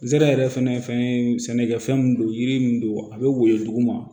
Zera yɛrɛ fɛnɛ fɛn ye sɛnɛkɛfɛn mun don yiri min don a be woyo duguma